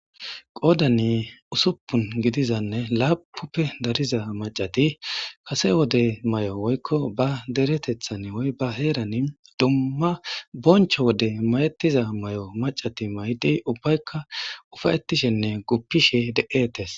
qoodani usuppun gidizanne laapnnuppe dariza macati kase wode may7o woykko ba deretethan oy ba heerani dumma boncho wode mayetiza may7o macati maydi ubbaykka ufayetishenne guppishe de7eetes